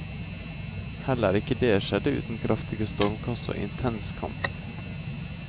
Heller ikke det skjedde uten kraftige stormkast og intens kamp.